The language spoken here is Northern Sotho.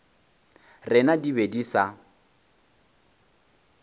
rena di be di sa